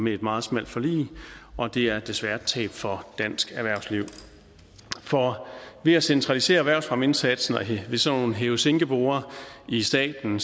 et meget smalt forlig og det er desværre et tab for dansk erhvervsliv for ved at centralisere erhvervsfremmeindsatsen ved sådan nogle hæve sænke borde i staten